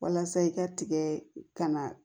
Walasa i ka tigɛ kana